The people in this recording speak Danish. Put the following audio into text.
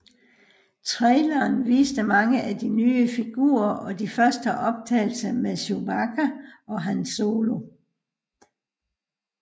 Traileren viste mange af de nye figurer og de første optagelser med Chewbacca og Han Solo